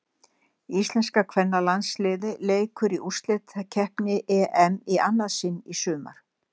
Íslenska kvennalandsliðið leikur í úrslitakeppni EM í annað sinn í sumar.